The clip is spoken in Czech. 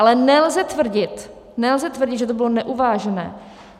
Ale nelze tvrdit, nelze tvrdit, že to bylo neuvážené!